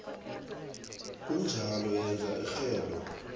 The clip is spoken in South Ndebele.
kunjalo yenza irhelo